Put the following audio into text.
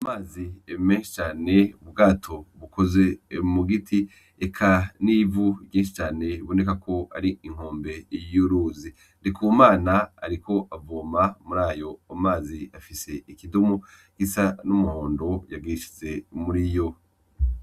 Amazi menshi cane , ubwato bukoze mu giti eka n’ivu ryinshi cane biboneka ko ari inkombe y’uruzi . Ndikumana ariko avoma murayo mazi afise ikidumu gisa n’umuhondo yagishize muriyo.